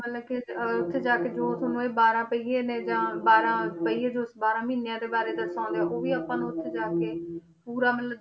ਮਤਲਬ ਕਿ ਅਹ ਉੱਥੇ ਜਾ ਕੇ ਜੋ ਤੁਹਾਨੂੰ ਇਹ ਬਾਰਾਂ ਪਹੀਏ ਨੇ ਜਾਂ ਬਾਰਾਂ ਪਹੀਏ ਜੋ ਬਾਰਾਂ ਮਹੀਨਿਆਂ ਦੇ ਬਾਰੇ ਦਰਸਾਉਂਦੇ ਆ ਉਹ ਵੀ ਆਪਾਂ ਉੱਥੇ ਜਾ ਕੇ ਪੂਰਾ ਮਤਲਬ